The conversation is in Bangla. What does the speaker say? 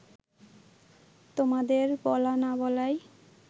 তোমাদের বলা না বলায়